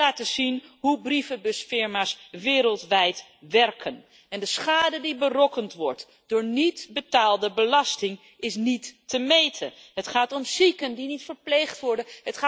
Zij laten zien hoe brievenbusfirma's wereldwijd werken en de schade die berokkend wordt door niet betaalde belasting is niet te meten. Het gaat om zieken die niet verpleegd worden.